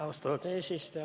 Austatud eesistuja!